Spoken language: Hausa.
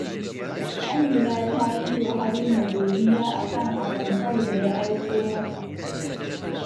Amina ta yi wa Haruna godiya a kan atamfar da ya aiko mata